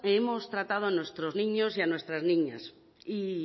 hemos tratado a nuestros niños y a nuestras niñas y